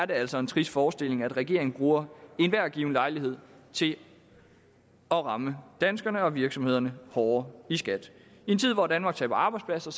det altså en trist forestilling at regeringen bruger enhver given lejlighed til at ramme danskerne og virksomhederne hårdere i skat i en tid hvor danmark taber arbejdspladser